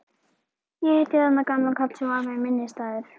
Ég hitti þarna gamlan karl sem varð mér minnisstæður.